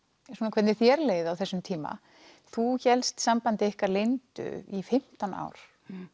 hvernig þér leið á þessum tíma þú hélst sambandi ykkar leyndu í fimmtán ár